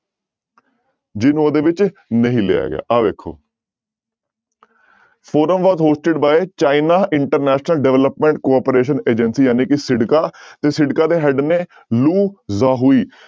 ਜਿਹਨੂੰ ਉਹਦੇ ਵਿੱਚ ਨਹੀਂ ਲਿਆ ਗਿਆ ਆਹ ਵੇਖੋ forum was hosted by China international development cooperation agency ਜਾਣੀ ਕਿ ਸਿਡਕਾ ਤੇ ਸਿਡਕਾ ਦੇ head ਨੇ ਲੂ ਯਾਹੂਈ।